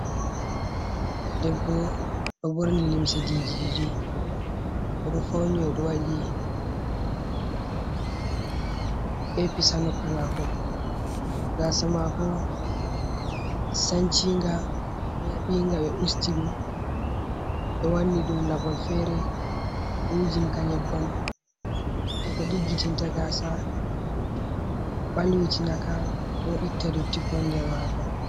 Debbo ɗo ɓorni limse didi didi odo fauni odo waɗi epis ha noppi mako, gasa mako sanchinga laɓinga ɓe usti ɗum ɓe wanni ɗum labol fere be wujin ka nyebbam je ko ɗiggitinta gasa ɓalwitina ka bo itta dottiko nder maka.